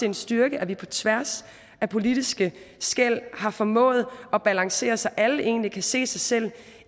en styrke at vi på tværs af politiske skel har formået at balancere det så alle egentlig kan se sig selv